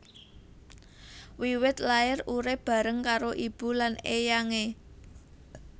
Wiwit lair urip bareng karo ibu lan éyangé